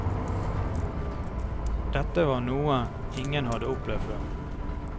Dette var noe ingen hadde opplevd før.